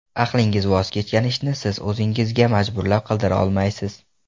Aqlingiz voz kechgan ishni siz o‘zingizga majburlab qildira olmaysiz.